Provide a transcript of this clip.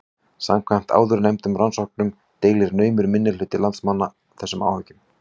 Samkvæmt áðurnefndum rannsóknum deilir naumur minnihluti landsmanna þessum áhyggjum.